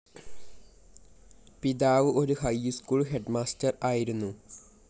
പിതാവ് ഒരു high school headmaster ആയിരുന്നു.